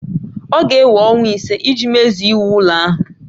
Ọ ga-ewe ọnwa ise iji mezue iwu ụlọ ahụ